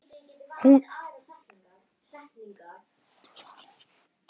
Hún gengur með barn mitt.